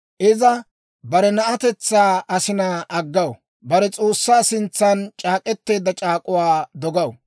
Iza bare na'atetsaa asinaa aggaw; bare S'oossaa sintsan c'aak'k'eteedda c'aak'uwaakka dogaw.